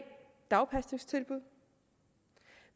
dagpasningstilbud